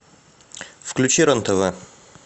включи рен тв